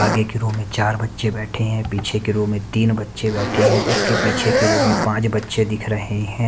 आगे की रो में चार बच्चे बैठे हैं पीछे की रो में तीन बच्चे बैठे हैं उसके पीछे की रो में पांच बच्चे दिख रहे हैं।